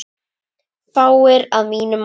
Fáir, að mínu mati.